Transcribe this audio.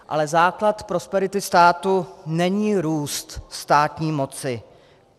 Ale základ prosperity státu není růst státní moci.